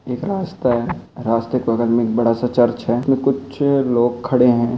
एक रास्ता है रास्ते के बगल में एक बड़ा सा चर्च है कुछ लोग खड़े है।